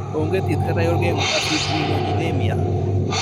Onge thieth kata yor geng'o afibrinogenemia.